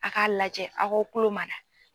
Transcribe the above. A' k'a lajɛ a' k'aw kulo mada.